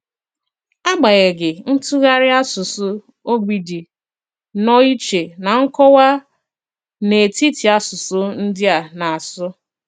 Ágbanyeghị, ntùghàrị àsùsù ogbi dị nnọọ ìchè na nkọ̀wà n’etiti àsùsù ndị à na-asù.